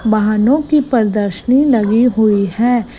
वाहनों की प्रदर्शनी लगी हुई हैं।